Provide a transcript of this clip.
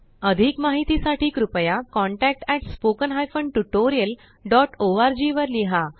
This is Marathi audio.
अधिक माहिती साठी कृपया contactspoken tutorialorg वर लिहा